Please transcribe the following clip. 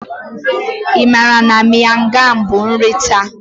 Ị maara na Miang kham bụ nri Thai?